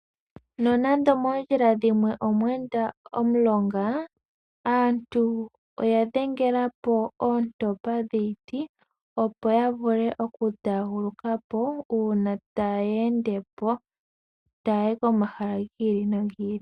Nonando moondjila dhimwe omwe enda omulonga, aantu oya dhengelapo oontopa dhiiti opo ya vule oku taaguluka po uuna taye ende po taya yi komahala giili nogi ili.